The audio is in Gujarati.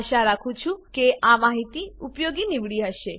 આશા રાખું છું કે આ માહિતી ઉપયોગી નીવડી હશે